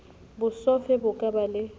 bosofe bo ka ba le